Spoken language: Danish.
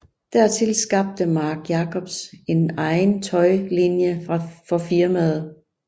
Dertil skabte Marc Jacobs en egen tøjlinie for firmaet